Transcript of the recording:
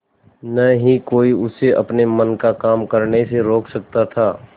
न ही कोई उसे अपने मन का काम करने से रोक सकता था